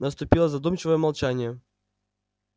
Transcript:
наступило задумчивое молчание